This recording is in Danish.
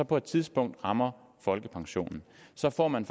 på et tidspunkt rammer folkepensionen så får man